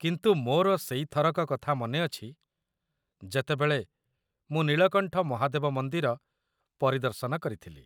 କିନ୍ତୁ ମୋର ସେଇ ଥରକ କଥା ମନେ ଅଛି ଯେତେବେଳେ ମୁଁ ନୀଳକଣ୍ଠ ମହାଦେବ ମନ୍ଦିର ପରିଦର୍ଶନ କରିଥିଲି।